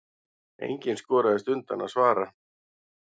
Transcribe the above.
Enginn skoraðist undan að svara.